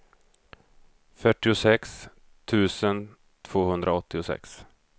fyrtiosex tusen tvåhundraåttiosex